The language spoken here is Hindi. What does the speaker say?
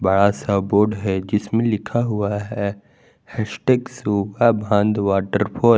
बड़ा सा बोर्ड है जिसमें लिखा हुआ है हैस्टैग सुगा बांध वॉटरफॉल --